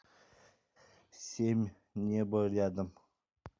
семь небо рядом